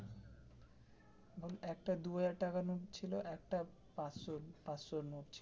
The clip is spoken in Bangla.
একটা দু হাজার টাকার নোট ছিল একটা পাচশো পাচশো নোট ছিল.